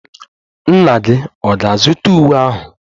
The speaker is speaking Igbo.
Nna gị ọ̀ ga-azụta uwe ahụ?